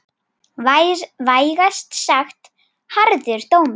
Vægast sagt harður dómur.